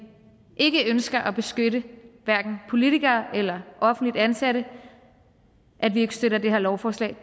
ikke ønsker at beskytte hverken politikere eller offentligt ansatte at vi ikke støtter det her lovforslag